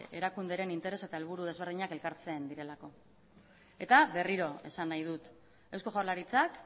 erakunderen interes eta helburu desberdinak elkartzen direlako eta berriro esan nahi dut eusko jaurlaritzak